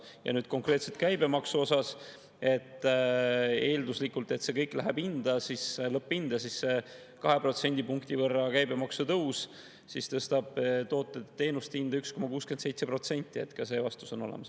Ja nüüd konkreetselt käibemaksu puhul, eelduslikult, et see kõik läheb lõpphinda, siis kahe protsendipunkti võrra käibemaksu tõus tõstab toodete-teenuste hinda 1,67%, nii et ka see vastus on olemas.